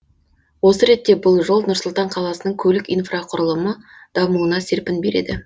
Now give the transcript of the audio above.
осы ретте бұл жол нұр сұлтан қаласының көлік инфрақұрылымы дамуына серпін береді